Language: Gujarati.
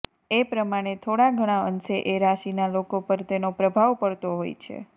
એ પ્રમાણે થોડા ઘણા અંશે એ રાશિના લોકો પર તેનો પ્રભાવ પડતો હોય છે